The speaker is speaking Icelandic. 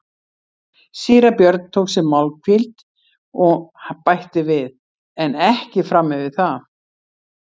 Síra Björn tók sér málhvíld og bætti við:-En ekki fram yfir það.